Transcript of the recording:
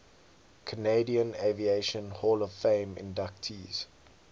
canadian aviation hall of fame inductees